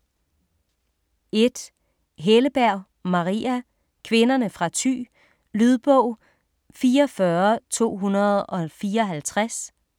1. Helleberg, Maria: Kvinderne fra Thy Lydbog 44254